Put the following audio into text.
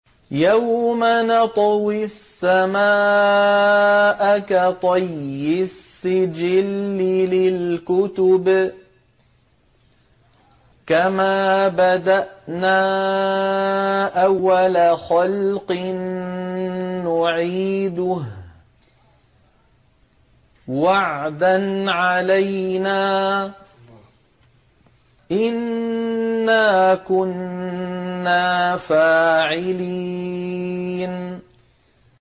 يَوْمَ نَطْوِي السَّمَاءَ كَطَيِّ السِّجِلِّ لِلْكُتُبِ ۚ كَمَا بَدَأْنَا أَوَّلَ خَلْقٍ نُّعِيدُهُ ۚ وَعْدًا عَلَيْنَا ۚ إِنَّا كُنَّا فَاعِلِينَ